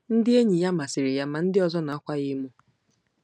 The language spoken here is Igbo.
Ndị enyi ya masịrị ya ma ndị ọzọ na-akwa ya emo.